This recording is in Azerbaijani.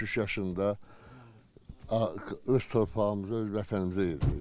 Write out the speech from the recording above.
83 yaşında öz torpağımıza, öz vətənimizə gedirik.